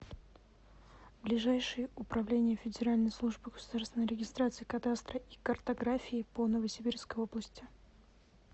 ближайший управление федеральной службы государственной регистрации кадастра и картографии по новосибирской области